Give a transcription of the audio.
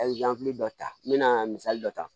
A ye dɔ ta n mɛna misali dɔ ta